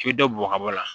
K'i bɛ dɔ bɔgɔ ka bɔ a la